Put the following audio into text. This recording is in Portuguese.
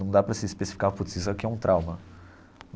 Não dá para se especificar, putz isso aqui é um trauma.